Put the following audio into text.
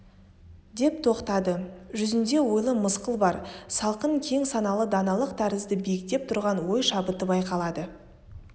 деп тоқтады жүзінде ойлы мысқыл бар салқын кең саналы даналық тәрізді биіктеп тұрған ой шабыты байқалады